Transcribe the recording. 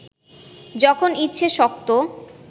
যখন ইচ্ছে শক্ত